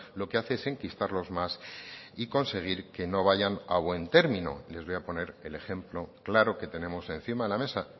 lo que hace es enquistarlos más y conseguir que no vayan a buen término les voy a poner el ejemplo claro que tenemos encima de la mesa